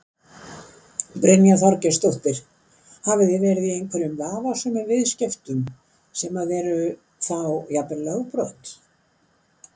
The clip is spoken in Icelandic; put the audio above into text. Brynja Þorgeirsdóttir: Hafið þið verið í einhverjum vafasömum viðskiptum sem að eru þá jafnvel lögbrot?